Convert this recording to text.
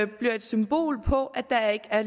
bliver et symbol på at der ikke er